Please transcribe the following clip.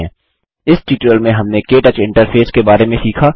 इस ट्यूटोरियल में हमने के टच इंटरफेस के बारे में सीखा